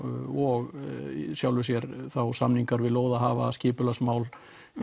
og í sjálfu sér þá samingar við lóðahafa skipulagsmál